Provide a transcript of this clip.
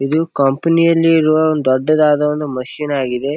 ಇದು ಕಂಪೆನಿ ಯಲ್ಲಿರುವ ಒಂದ್ ದೊಡ್ಡದಾದ ಒಂದು ಮೆಷಿನ್ ಆಗಿದೆ.